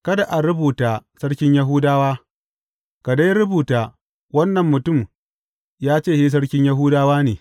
Kada ka rubuta, Sarkin Yahudawa,’ ka dai rubuta, wannan mutum ya ce shi sarkin Yahudawa ne.